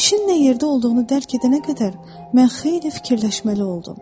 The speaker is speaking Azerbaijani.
İşin nə yerdə olduğunu dərk edənə qədər mən xeyli fikirləşməli oldum.